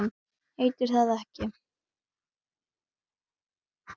Heitir það ekki